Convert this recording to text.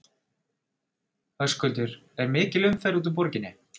Höskuldur er mikil umferð út úr borginni?